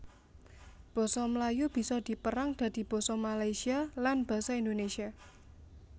Basa Melayu bisa dipérang dadi basa Malaysia lan basa Indonesia